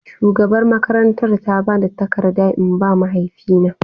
Shugabar makarantar ta ba ni takarda in ba mahaifi na.